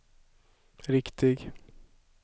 riktig